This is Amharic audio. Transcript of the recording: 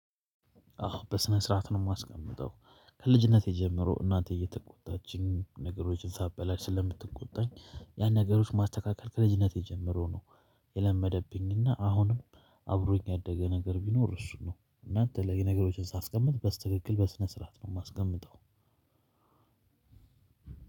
አዎ በስነ ስርዓት ነው ማስቀምጠው ከልጅነቴ ጀምሮ እናቴ እየተቆጣችኝ ነገሮችን ሳበላሽ ስለምትቆጣኝ ያን ነገሮች ማስተካከል ክለዥነት ጀምሮው ነው። የለመደብኝና አሁንም አብሮኝ ያደገ ነገር ቢኖር እሱን ነው። እና የተለያየ ነገሮችን ሳስቀምጥ በስትክክል በስነ ስርዓት ነው ማስቀምጠው።